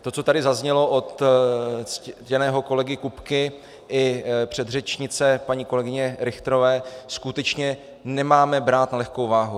To, co tady zaznělo od ctěného kolegy Kupky i předřečnice paní kolegyně Richterové, skutečně nemáme brát na lehkou váhu.